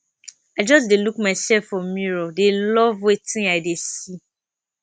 i just dey look myself for mirror dey love wetin i dey see